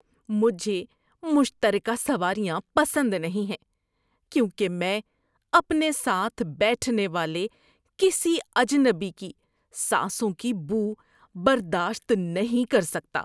مجھے مشترکہ سواریاں پسند نہیں ہیں کیونکہ میں اپنے ساتھ بیٹھنے والے کسی اجنبی کی سانسوں کی بو برداشت نہیں کر سکتا۔